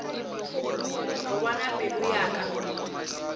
go bona pelo ya ka